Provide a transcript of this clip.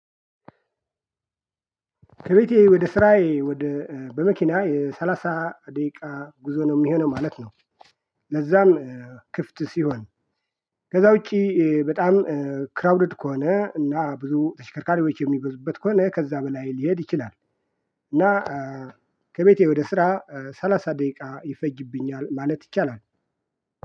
ከቤቴ ወደ ስራዬ ወደ በመኪና የሰላሳ ደቂቃ ጉዞ ነው የሚሆነው ማለት ነው። ለዛም ክፍት ሲሆን ከዛ ውጪ በጣም ክራውድድ ከሆነ እና ብዙ ተሽከርካሪዎች የሚበዙበት ከሆነ ከዛ በላይ ሊሄድ ይችላል። እና ከቤቴ ወደ ስራ ሰላሳ ደቂቃ ይፈጅብኛል ማለት ይቻላል